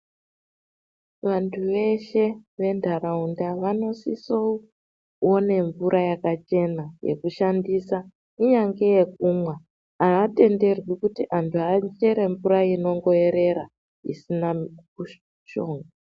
Vantu veshe ventaraunda vanosisoone mvura yakachena yekushandisa kunyange yekumwa avatenderwi kuti antu achere mvura yekuerera isina mishonga.